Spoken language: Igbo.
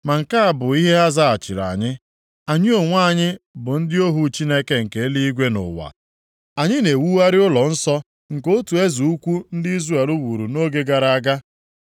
Ma nke a bụ ihe ha zaghachiri anyị: “Anyị onwe anyị bụ ndị ohu Chineke nke eluigwe na ụwa. Anyị na-ewugharị ụlọnsọ nke otu eze ukwu ndị Izrel wuru nʼoge gara aga.